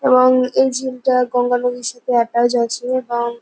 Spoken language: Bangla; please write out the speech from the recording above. এববববং এই ঝিলটা গঙ্গা নদীর সাথে এটাচ আছে এবং --